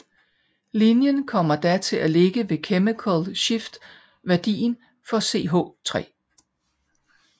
Linjen kommer da til at ligge ved chemical shift værdien for CH3